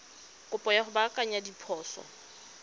kopo ya go baakanya diphoso